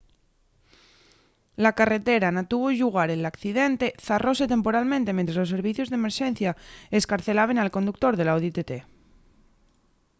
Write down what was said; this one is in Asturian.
la carretera na que tuvo llugar l’accidente zarróse temporalmente mientres los servicios d’emerxencia escarcelaben al conductor del audi tt